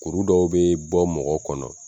Kuru dɔw bɛ bɔ mɔgɔ kɔnɔ